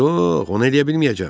Yox, onu eləyə bilməyəcəm.